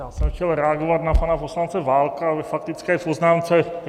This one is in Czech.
Já jsem chtěl reagovat na pana poslance Válka ve faktické poznámce.